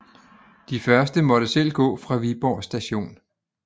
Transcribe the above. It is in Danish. De første måtte selv gå fra Viborg Station